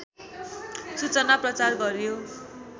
सूचना प्रचार गरियो